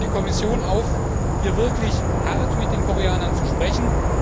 Ich rufe die Kommission auf, hier wirklich hart mit den Koreanern zu sprechen.